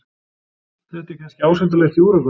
Þetta er kannski ásættanlegt í Úrúgvæ.